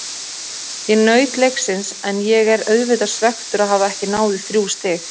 Ég naut leiksins en ég er auðvitað svekktur að hafa ekki náð í þrjú stig.